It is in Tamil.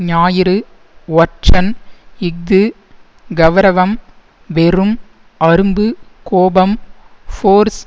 ஞாயிறு ஒற்றன் இஃது கெளரவம் வெறும் அரும்பு கோபம் ஃபோர்ஸ்